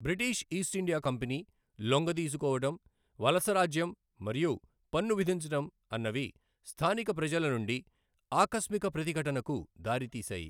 British East India company లొంగదీసుకోవడం, వలసరాజ్యం మరియు పన్ను విధించడం అన్నవి స్థానిక ప్రజల నుండి ఆకస్మిక ప్రతిఘటనకు దారితీశాయి.